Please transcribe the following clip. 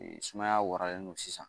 Sumaya waralen don sisan